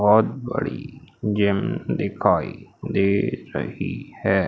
बहोत बड़ी जिम दिखाई दे रही है।